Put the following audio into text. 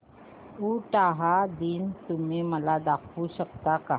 उटाहा दिन तुम्ही मला दाखवू शकता का